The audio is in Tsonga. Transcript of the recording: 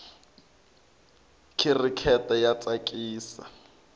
khirikete ya tsakisa